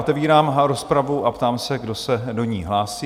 Otevírám rozpravu a ptám se, kdo se do ní hlásí?